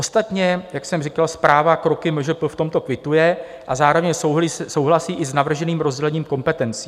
Ostatně, jak jsem říkal, zpráva kroky MŽP v tomto kvituje a zároveň souhlasí i s navrženým rozdělením kompetencí.